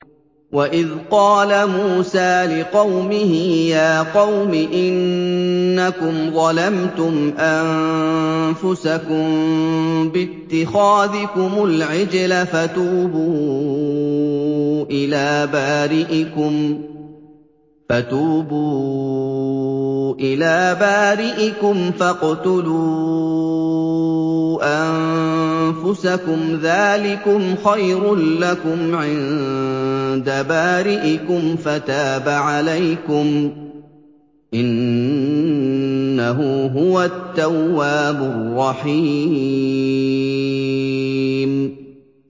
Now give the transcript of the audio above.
وَإِذْ قَالَ مُوسَىٰ لِقَوْمِهِ يَا قَوْمِ إِنَّكُمْ ظَلَمْتُمْ أَنفُسَكُم بِاتِّخَاذِكُمُ الْعِجْلَ فَتُوبُوا إِلَىٰ بَارِئِكُمْ فَاقْتُلُوا أَنفُسَكُمْ ذَٰلِكُمْ خَيْرٌ لَّكُمْ عِندَ بَارِئِكُمْ فَتَابَ عَلَيْكُمْ ۚ إِنَّهُ هُوَ التَّوَّابُ الرَّحِيمُ